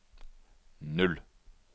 null